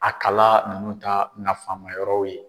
A kala nunnu ta nafa ma yɔrɔw ye.